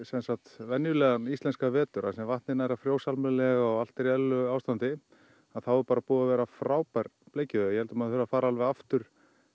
venjulegan íslenskan vetur þar sem vatnið nær að frjósa almennilega og allt er í eðlilegu ástandi þá er bara búin að vera frábær bleikjuveiði ég held að maður þurfi að fara aftur